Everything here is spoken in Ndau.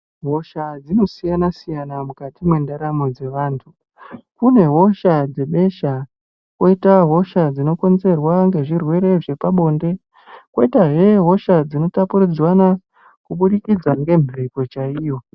Hosha dzinosiyana siyana mukati mwendaramo dzevantu. Kune hosha dzevesha kwoita hosha dzinokonzerwa nezvirwere zvepabonde, kwoitazve hosha dzinotapudzirwana kubudikidza nemhepo chaiyo.